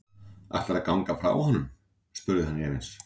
Ætlarðu að ganga frá honum? spurði hann efins.